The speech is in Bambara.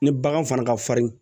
Ni bagan fana ka farin